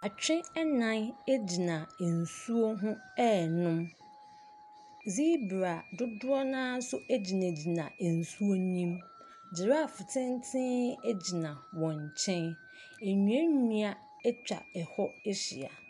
Atwe nnan gyina nsuo ho ɛrenom, zebra dodoɔ no ara ns gyinagyina nsuo ne mu. Giraffe tenten gyinaa wɔn nkyɛn, nnuannua atwa hɔ ahyia.